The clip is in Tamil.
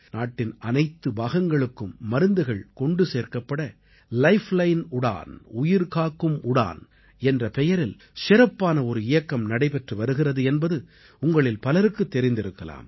நாட்டின் அனைத்து பாகங்களுக்கும் மருந்துகள் கொண்டு சேர்க்கப்பட லைஃப்லைன் உடன் உயிர்காக்கும் உடான் என்ற பெயரில் சிறப்பான ஒரு இயக்கம் நடைபெற்று வருகிறது என்பது உங்களில் பலருக்குத் தெரிந்திருக்கலாம்